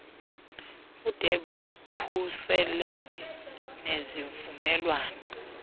bude bukhuseleke nezivumelwano